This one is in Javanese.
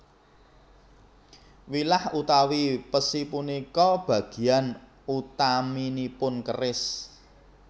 Wilah utawi pesi punika bagian utaminipun keris